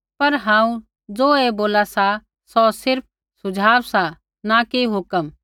पर हांऊँ ज़ो ऐ बोला सा सौ सिर्फ़ सुझाव सा न कि हुक्म